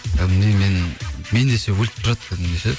кәдімгідей мен мен десе өліп тұрады кәдімгі ше